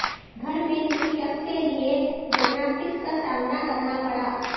گھر میں کسی شخص کے لئے جمناسٹکس کا سامنا کرنا پڑا